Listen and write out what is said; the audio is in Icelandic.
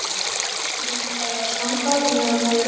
Ertu með uppástungur um hvað á að standa á þeim eða má ég ráða?